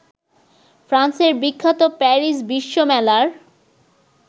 ফ্রান্সের বিখ্যাত প্যারিস বিশ্বমেলার